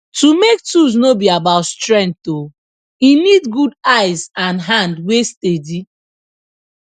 to make tools no be about strength oh e need good eyes and hand wey steady